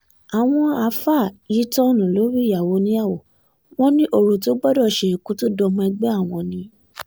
àwọn àáfàá yìí tó tọ́ọ̀nù lórí ìyàwó oníyàwó wọn ní ọ̀rọ̀ tó gbọ́dọ̀ ṣe kó tóó dọmọ ẹgbẹ́ àwọn ni